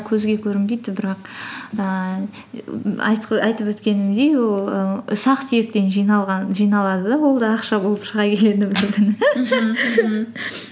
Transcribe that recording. көзге көрінбейді бірақ ііі айтып өткенімдей ол і ұсақ түйектен жиналады да ол да ақша болып шыға келеді